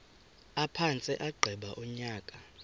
aphantse agqiba unyaka